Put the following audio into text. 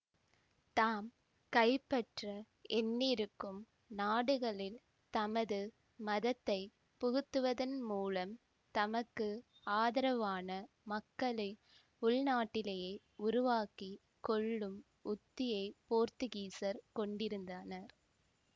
தாம் கைப்பற்ற எண்ணியிருக்கும் நாடுகளில் தமது மதத்தை புகுத்துவதன் மூலம் தமக்கு ஆதரவான மக்களை உள்நாட்டிலே உருவாக்கி கொள்ளும் உத்தியை போர்த்துகீசர் கொண்டிருந்தனர்